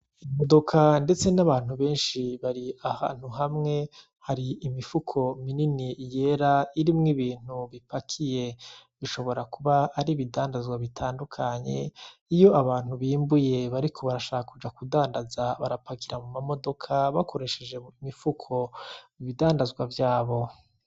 Imodoka ndetse n'abantu benshi bari ahantu hamwe, hari imifuko minini yera irimwo ibintu bipakiye bishobora kuba ari ibidandaza bitandukanye iyo abantu bimbuye bariko barashaka kuja kudandaza barapakira muma modoka bakoresheje imifuko ibidandazwa vyabo.